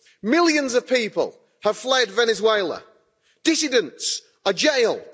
Millions of people have fled Venezuela. Dissidents are jailed.